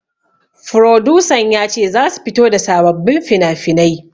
Furodusan ya ce zasu fito da sababbin finafinai